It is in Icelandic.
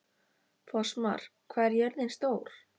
Fossmar, hvað er jörðin stór?